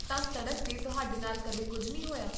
ਤਾਂ, ਸੜਕ 'ਤੇ ਤੁਹਾਡੇ ਨਾਲ ਕਦੇ ਕੁੱਝ ਨਹੀਂ ਹੋਇਆ?